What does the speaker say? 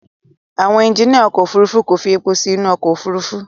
Àwọn ẹjiníà ọkọ̀ Òfurufú kò fi èpò sí inú ọkọ̀ Òfurufú.